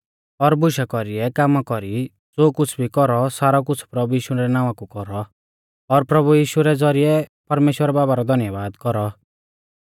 और बुशा कौरीयै कामा कौरी ज़ो कुछ़ भी कौरौ सारौ कुछ़ प्रभु यीशु रै नावां कु कौरौ और प्रभु यीशु रै ज़ौरिऐ परमेश्‍वर बाबा रौ धन्यबाद कौरौ